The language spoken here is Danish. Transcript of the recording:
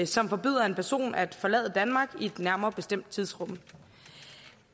som forbyder en person at forlade danmark i et nærmere bestemt tidsrum